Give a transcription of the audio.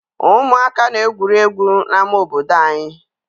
Ụmụaka na-egwuri egwu n'ama obodo anyị.